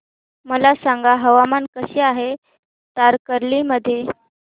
मला सांगा हवामान कसे आहे तारकर्ली मध्ये